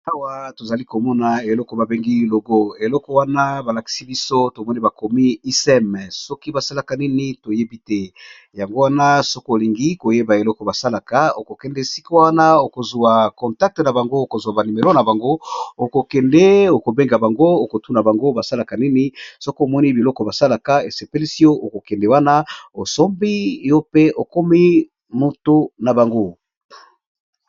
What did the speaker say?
Awa tozali komona eloko babengi logo eloko wana namoni bakomi ISEM soki basalaka nini toyebi te.